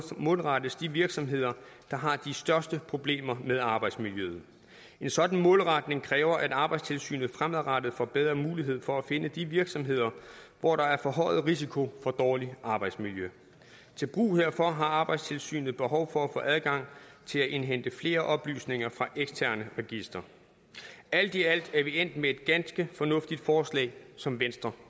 målrettes de virksomheder der har de største problemer med arbejdsmiljøet en sådan målretning kræver at arbejdstilsynet fremadrettet får bedre mulighed for at finde de virksomheder hvor der er forhøjet risiko for dårligt arbejdsmiljø til brug herfor har arbejdstilsynet behov for at få adgang til at indhente flere oplysninger fra eksterne registre alt i alt er vi endt med et ganske fornuftigt forslag som venstre